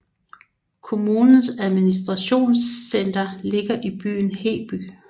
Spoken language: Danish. Kommunens administrationcenter ligger i byen Heby